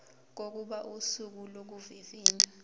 kokuba usuku lokuvivinywa